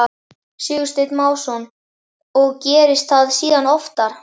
Sigursteinn Másson: Og gerðist það síðan oftar?